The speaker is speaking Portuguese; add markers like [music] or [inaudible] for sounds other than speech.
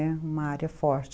[unintelligible] uma área forte